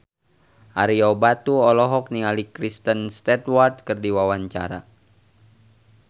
Ario Batu olohok ningali Kristen Stewart keur diwawancara